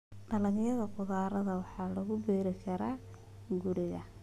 Dalagga khudradda waxaa lagu beeri karaa beeraha guriga.